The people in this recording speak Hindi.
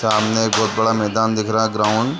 सामने एक बहुत बड़ा मैदान दिख रहा है ग्राउंड --